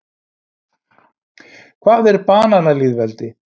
Hvað er bananalýðveldi?